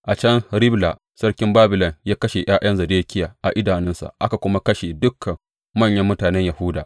A can Ribla sarkin Babilon ya kashe ’ya’yan Zedekiya a idanunsa aka kuma kashe dukan manyan mutanen Yahuda.